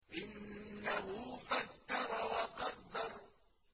إِنَّهُ فَكَّرَ وَقَدَّرَ